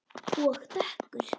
Og dökkur.